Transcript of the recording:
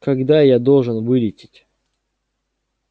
когда я должен вылететь